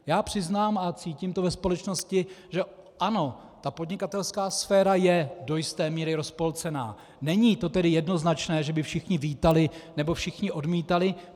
Já přiznám a cítím to ve společnosti že ano, ta podnikatelská sféra je do jisté míry rozpolcená, není to tedy jednoznačné, že by všichni vítali nebo všichni odmítali.